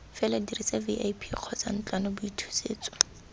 fela dirisa vip kgotsa ntlwanaboithusetso